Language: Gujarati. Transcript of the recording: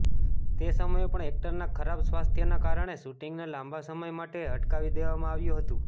તે સમયે પણ એક્ટરના ખરાબ સ્વાસ્થ્યના કારણે શૂટિંગને લાંબા સમય માટે અટકાવી દેવામાં આવ્યું હતું